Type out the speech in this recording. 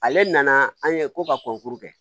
Ale nana an ye ko ka kɔnkuru kɛ